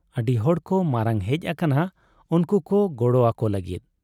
ᱟᱹᱰᱤ ᱦᱚᱲᱠᱚ ᱢᱟᱨᱟᱝ ᱦᱮᱡ ᱟᱠᱟᱱᱟ ᱩᱱᱠᱩ ᱠᱚ ᱜᱚᱲᱚ ᱟᱠᱚ ᱞᱟᱹᱜᱤᱫ ᱾